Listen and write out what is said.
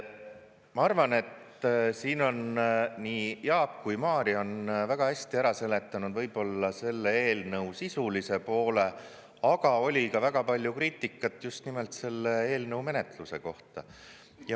Ma arvan, et siin on nii Jaak kui Mario on väga hästi ära seletanud võib-olla selle eelnõu sisulise poole, aga oli ka väga palju kriitikat just nimelt selle eelnõu menetluse kohta.